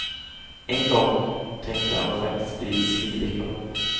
En gång tänkte han faktiskt bli civilekonom.